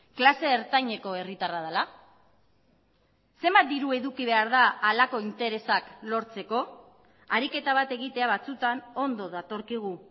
klase ertaineko herritarra dela zenbat diru eduki behar da halako interesak lortzeko ariketa bat egitea batzutan ondo datorkigu